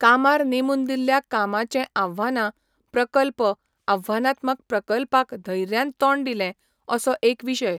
कामार नेमून दिल्ल्या कामाचें आव्हानां प्रकल्प आव्हानात्मक प्रकल्पाक धैर्यान तोंड दिलें असो एक विशय